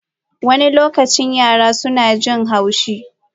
Wani lokaci yara suna jin haushi.